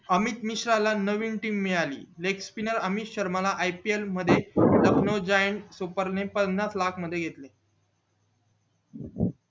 अमित मिश्रा ला नवीन team मिळाली अमित मिश्रा ला ipl मध्ये लखनऊ जॉईन सुपर ने पन्नास लाख मध्ये घेतलं